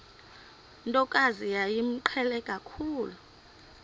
ntokazi yayimqhele kakhulu